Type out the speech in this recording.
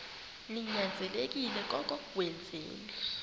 ninyanzelekile koko wenzeni